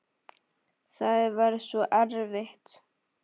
Það var svo erfitt.